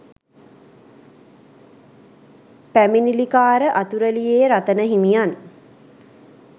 පැමිණිලිකාර අතුරලියේ රතන හිමියන්